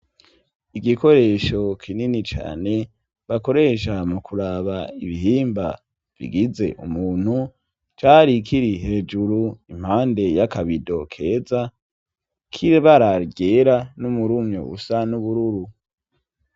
Igikoresho kinini cane bakoresha mu kuraba ibihimba bigize umuntu, cari kiri hejuru impande y'akabido keza k'ibara ryera n'umurumyo usa n'ubururu.